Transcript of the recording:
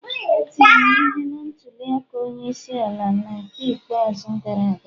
E tiri m ihe na ntuli aka onye isi ala n'ke ikpeazụ gara aga